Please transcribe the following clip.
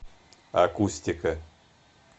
акустика